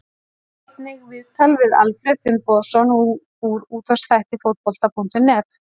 Sjá einnig: Viðtal við Alfreð Finnbogason úr útvarpsþætti Fótbolta.net